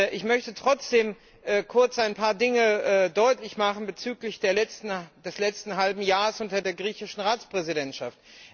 Ich möchte trotzdem kurz ein paar Dinge deutlich machen bezüglich des letzten halben Jahres unter der griechischen Ratspräsidentschaft.